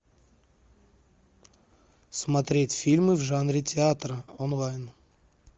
смотреть фильмы в жанре театр онлайн